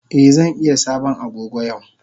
Eh zan iya sabon Agogo yau.